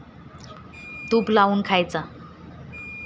तूप लावून खायचा.